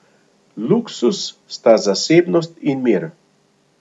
Luksuz sta zasebnost in mir.